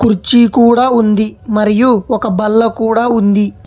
కుర్చీ కూడా ఉంది మరియు ఒక బల్ల కూడా ఉంది.